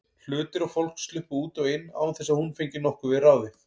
Hlutir og fólk sluppu út og inn án þess að hún fengi nokkuð við ráðið.